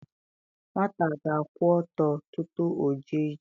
Nwata ga-akwụ ọtọ tutu o jee ije